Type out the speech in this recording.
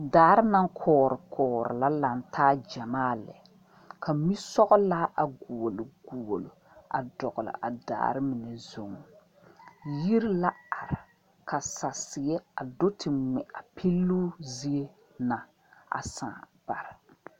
Daare naŋ koɔre koɔre la laŋ taa gyamaa lɛ ka mi sɔglaa a dogli dogli dɔgle a daare mine zu, yiri la are ka sasiɛ do te ŋmɛ a peloŋ taa ne saa baare.